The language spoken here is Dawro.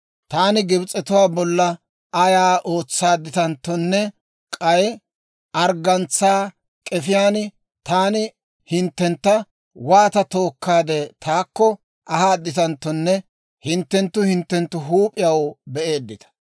‹Taani Gibs'etuwaa bolla ayaa ootsaadditanttonne k'ay arggantsaa k'efiyaan taani hinttentta waata tookkaade taakko ahaaditanttonne hinttenttu hinttenttu huup'iyaw be'eeddita.